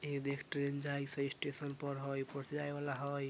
इ देख ट्रेन जाइ से स्टेशन पर हई ऊपर से जाइ वाला हई।